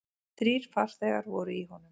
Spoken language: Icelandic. Þrír farþegar voru í honum.